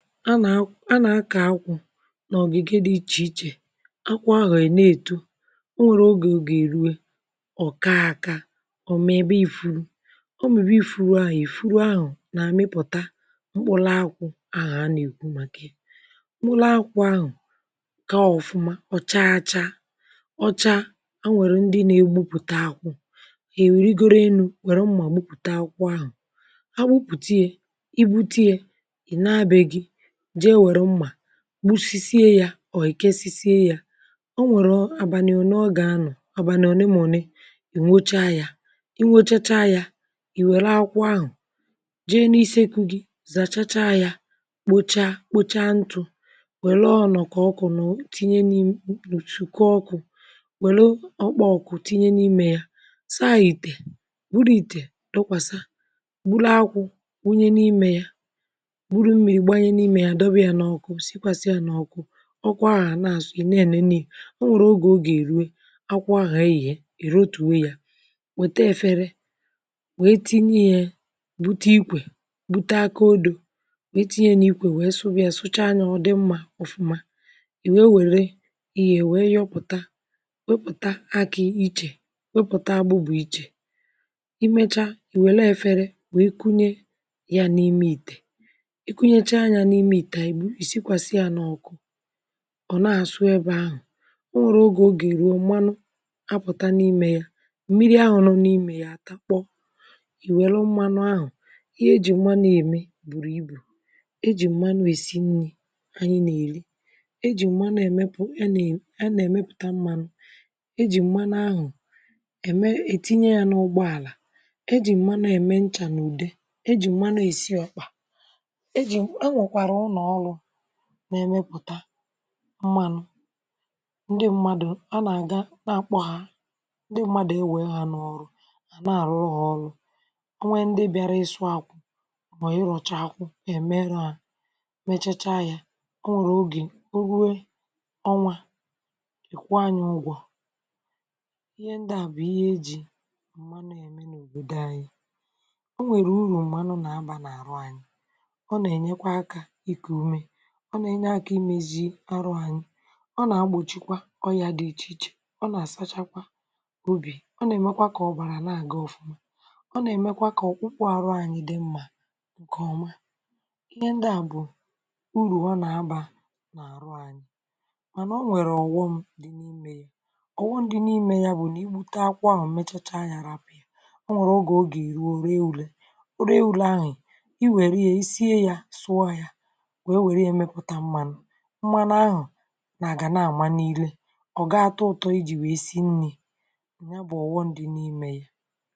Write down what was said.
A nà a na-akọ̀ akwụ̀ n’ogigè dị̀ ichè ichè akwụ̀ ahụ̀ a na-etò urù ogè, ogè eruè ọ kaà aka o mebè ifùrù ọ mị̀bè ifùrù ahụ̀, ifùrù ahụ̀ nà amịpụ̀tà m̄kpụlàakwụ̀ ahụ̀ a na-ekwù màkà yà m̄kpụlàakwụ̀ ahụ̀ kaa ọfụ̀mà ọ chaà achà ọ chà hà nwerè ndị̀ na-egbùpùtà akwụ̀ i wuligorò enù werè mmà gbùpùtà akwụ̀ ahụ̀ hà gbùpùtà yà i gbutè yà ị nà bè gì jeè werù mmà gbusisiè yà or i kesisiè yà o nwerè abàlì olèọ ga-anọ̀ abànị̀ onè mà onè ị wụchaà yà ị wụchachà yà i welù akwu̇̀ ahụ̀ jeè n’isi ekwù gì zachàchà yà kpochà, kpochà ntụ̀ welù ọnọkọ̀ ọkụ̀ tnyè n’imè m̄kpochìkà ọkụ̀ welù m̄kpà ọkụ̀ tinyè n’imè yà saa itè burù itè tụkwasà burù akwụ̀ wunyè n’imè yà burù mmiri gbanyè n’imè ya dọwè yà n’ọkụ̀, sikwasịà n’ọkụ̀ ọkụ̀ahụ̀ a na-asụ̀ ị.na-enenè yà o nwerè ogè, ọ ga-eruè akwụ̀ ahụ̀ eghè i rotuò yà wetà efèrè wee tinyè yà butà ikwè butà aka odò gaa tinyè yà n’ikwè, wee sụwà yà, sụ̀chà yà ọ dị̀ mma ōfū̀mà i wee werè ihe wee yọpụ̀tà wepùtà akị̀ ichè wepùtà agbụ̀bụ̀ ichè i mechà i welù eferè wee kunyè yà n’imè itè ikùnyèchà yà n’imè itè, i sikwasà yà n’ọkụ̀ ọ na-asụ̀ ebe ahụ̀ o nwerè ogè ọ ga-erù, ọ malụ̀ apụ̀tà n’imè yà mmiri ahụ̀ nọ̀ n’imè yà atà kpọ̀ i welù mmanụ̀ ahụ̀ ihe e jì mmanụ̀ emè burù ibù e jì mmanụ̀ esì nnì anyị̀ na-erì e jì mmanụ̀ emèpù ihe a na a na-emèpùtà mmanụ̀ e jì mmanụ̀ ahụ̀ emè etinyè yà n’ụgbọ̀àlà e jì mmanụ̀ emè nchà n’udè e jì mmanụ̀ esì ọkpà e jì, enwèkwarà ụnọ̀ ọlụ̀ na-emèpùtà mmanụ̀ ndị̀ mmadụ̀, a na-agà akpọ̀ hà ndị̀ mmadụ̀ ewè hà n’ọrụ̀ na-arụrụ̀ hà ọlụ̀ o nwerè ndị̀ bịàrà isụ̀ akwụ̀ mọ̀ irọ̀chà akwụ̀ emerù ahụ̀ mechachà yà o nwerè ogè o ruè ọnwà ị kwụọ̀ anyị̀ ugwọ̀ ihe ndị̀ bụ̀ ihe e jì òbodò anyị̀ o nwerè urù mmanụ̀ na-abà n’arụ̀ anyị̀ ọ na-enyèkwà aka ikù umè ọ na-enyè aka imezì arụ̀ anyị̀ ọ na-egbochìkwà ọyà dị̀ iche ichè ọ na-asachakwà ubì ọna-emèkwà kà ọbarà na-agà ọfụ̀mà ọ na-emèkwà kà ọkpụ̀kpụ̀ arụ̀ anyị̀ dị̀ mmà nkè ọmà ihe ndị à bụ̀ urù ọ na-abà mànà o nwerè ọghọm ọghọm dị̀ n’imè yà bụ̀ nà i gbutà akwụ̀ ahụ̀ mechachà yà rapụ̀ o nwerè ogè ọ ga-erù, o rè urè o rè urè ahụ̀ i werè yà, i siè yà pụọ̀ yà wee werè yà mepùtà mmanụ̀ mmanụ̀ ahụ̀ na-aga na-amà n’irè ọ gaa atụtọ̀ijì wee sì nnì nyà bụ̀ ọghọm dị̀ n’imè yà